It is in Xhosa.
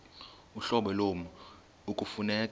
uhlobo lommi ekufuneka